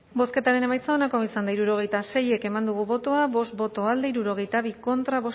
bozketaren emaitza onako izan da hirurogeita sei eman dugu bozka bost boto alde hirurogeita bi contra